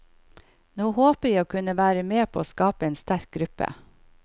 Nå håper jeg å kunne være med på å skape en sterk gruppe.